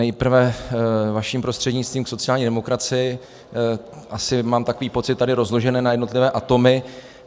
Nejprve vaším prostřednictvím k sociální demokracii asi, mám takový pocit, tady rozložené na jednotlivé atomy.